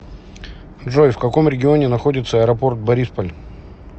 джой в каком регионе находится аэропорт борисполь